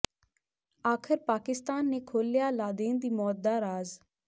ਆਖਰ ਪਾਕਿਸਤਾਨ ਨੇ ਖੋਲ੍ਹਿਆ ਲਾਦੇਨ ਦੀ ਮੌਤ ਦਾ ਰਾਜ਼